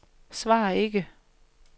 svar ikke